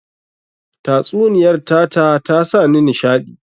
Tatsuniyar tata ta sa ni nishaɗi